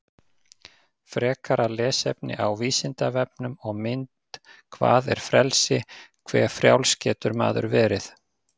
Frekara lesefni á Vísindavefnum og mynd Hvað er frelsi, hve frjáls getur maður verið?